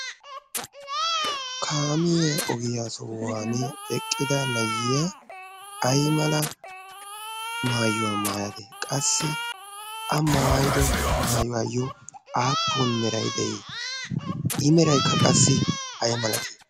kamiyen ogiyaa sohuwan eqqida nayyiya ai mala maayuwaa maaya de'es qassi a maayido maayuwaayyo aappun merai de'ii i meraikka qassi ay malatii?